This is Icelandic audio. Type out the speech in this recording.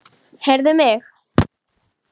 Heyrðu mig.